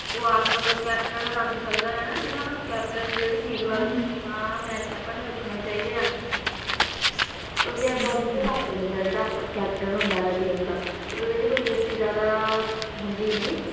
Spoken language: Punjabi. ਉਹ ਆਪ ਮਤਲਬ ਰੱਖ ਸਕਦਾ ਹੈ captain ਰੱਖ ਸਕਦਾ ਹੈ ਨਾ ਜਿਨ੍ਹਾਂ ਨੂੰ captain ਨੂੰ ਜਿਹੜੇ ਠੀਕ ਲੱਗਦੇ ਹੈ ਵੀ ਮੈਚ ਵਿਚ ਸਾਨੂੰ ਇਹ ਰੱਖਣੇ ਚਾਹੀਦੇ ਆ ਉਸਦੇ according ਉਹ ਰੱਖ ਲਿੰਦੇ ਆ ਜਿਹੜਾ captain ਹੁੰਦਾ ਹੈ ਟੀਮ ਦਾ ਮਤਲਬ ਇਹਦੀ ਕੋਈ captain ਜਿਆਦਾ ਹੁੰਦੀ ਨਹੀਂ